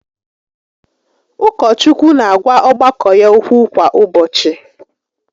Ụkọchukwu n'agwa ọgbakọ ya okwu kwa ụbọchị